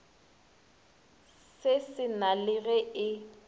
se sena le ge e